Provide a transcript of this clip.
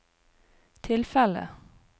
tilfellet